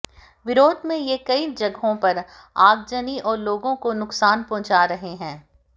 विरोध में ये कई जगहों पर आगजनी और लोगों को नुकसान पहुंचा रहे हैं